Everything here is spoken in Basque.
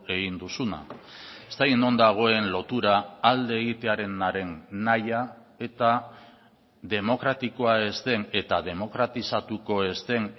egin duzuna ez dakit non dagoen lotura alde egitearenaren nahia eta demokratikoa ez den eta demokratizatuko ez den